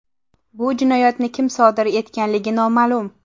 Bu jinoyatni kim sodir etganligi noma’lum.